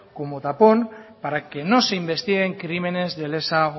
como tapón para que no se investiguen crímenes de lesa